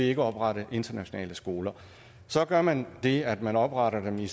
ikke oprette internationale skoler så gør man det at man opretter dem i